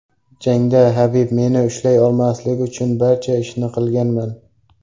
Jangda Habib meni ushlay olmasligi uchun barcha ishni qilaman.